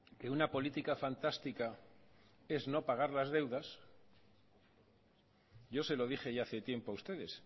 que una política fantástica es no pagar las deudas yo se lo dije ya hace tiempo a ustedes